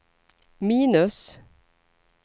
minus